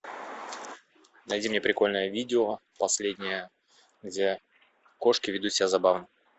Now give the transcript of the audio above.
найди мне прикольное видео последнее где кошки ведут себя забавно